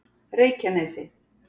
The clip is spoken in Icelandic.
Reykjanesi